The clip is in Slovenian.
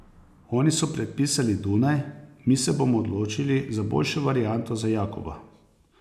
Oni so predpisali Dunaj, mi se bomo odločili za boljšo varianto za Jakoba.